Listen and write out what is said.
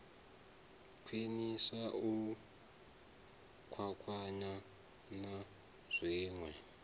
khwiniswa u kwakwana na zwinwe